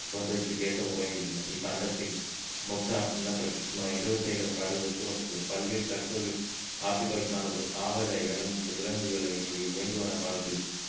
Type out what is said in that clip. போன்றவற்றிற்கு ஏற்ப உருவாகி உள்ளன இக்கண்டத்தில் மொத்த நிலப்பரப்பில் சுமார் இருபத்தையாயிரம் காடுகள் சூழப்பட்டுள்ளது பல்வேறு தற்போது ஆப்ரிக்காவில் காணப்படும் தாவர இனம் மற்றும் விலங்குகள் வேண்டுவன காலத்தில்